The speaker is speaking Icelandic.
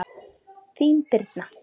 Þín, Birna.